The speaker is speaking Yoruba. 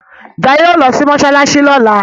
Jaiye yóò ló sì masalasi lola.